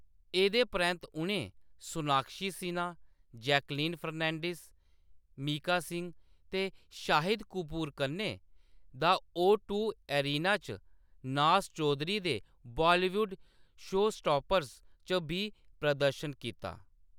एह्‌‌‌दे परैंत्त उʼनें सोनाक्षी सिन्हा, जैकलीन फर्नांडीज़, मीका सिंह ते शाहिद कपूर कन्नै द ओ-टू एरिना च नाज़ चौधरी दे बालीवुड शोस्टापर्स च बी प्रदर्शन कीता।